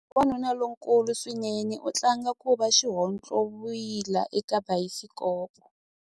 Wanuna lonkulu swinene u tlanga ku va xihontlovila eka bayisikopo.